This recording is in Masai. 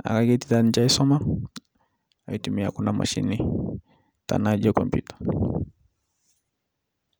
naaku ketii taa ninche aisoma atumia kuna mashinini tanaa ijo komputa.